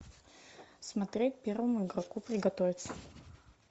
смотреть первому игроку приготовиться